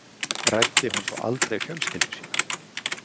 Ræddi hún þá aldrei fjölskyldu sína?